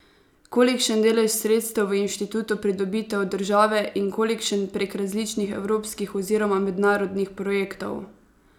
Kolikšen delež sredstev v inštitutu pridobite od države in kolikšen prek različnih evropskih oziroma mednarodnih projektov?